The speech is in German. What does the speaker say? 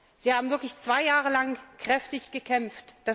Sie haben wirklich zwei Jahre lang kräftig gekämpft.